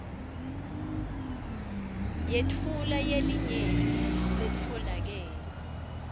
yetfu yelinyenti letfolakele